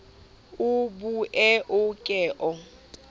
o bue o ke o